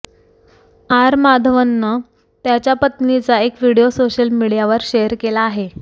R माधवननं त्याच्या पत्नीचा एक व्हिडिओ सोशल मीडियावर शेअर केला आहे